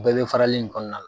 U bɛɛ bɛ farali in kɔnɔna la ?